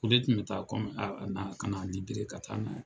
O de tun be taa kɔmi ka na di gere ka taa ma.